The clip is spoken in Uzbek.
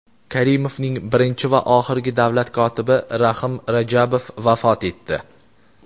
Karimovning birinchi va oxirgi davlat kotibi Rahim Rajabov vafot etdi.